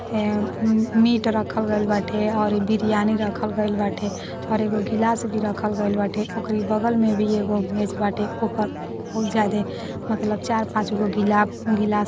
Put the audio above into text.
ए meat रखल गईल बाटे और ई बिरयानी रखल गईल बाटे और एगो गिलास भी रखल गईल बाटे उकेरे बगल में भी एगो मेज़ बाटे ओपर बहुत जादे मतलब चार पांच गो गिलाप गिलास --